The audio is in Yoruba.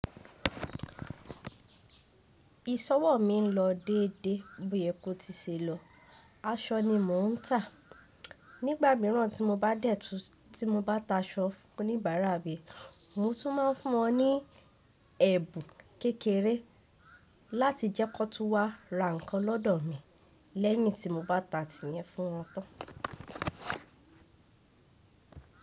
Ìsọwọ̀ mi ń lọ dédé bóyẹ́ kó ti ṣe lọ. Aṣọ ni mò ń tà. Nígbà míràn tí mo bá tà aṣọ fún oníbàárà mi, mò tún máa ń fún wọn ní ẹ̀bùn kékeré láti jẹ́ kó tun wá ra nǹkan lọ́dọ̀ mi lẹ́yin tí mo bá ta tìyẹn fún wọn tán.